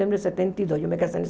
setenta e dois